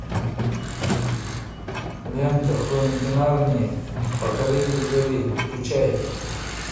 лента хроники нарнии покоритель зари включай